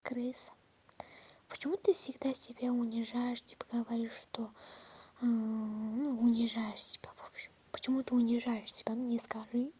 крыс почему ты всегда себя унижаешь типа говоришь что ну унижаешь себя в общем почему ты унижаешь себя мне скажи